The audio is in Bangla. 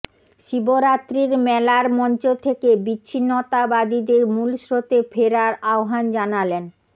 শিবরাত্রির মেলার মঞ্চ থেকে বিচ্ছিন্নতাবাদীদের মুলস্রোতে ফেরার আহ্বান জানালেন